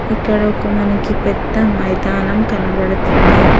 ఇక్కడ ఒక మనకి పెద్ద మైదానం కనబడుతుంది.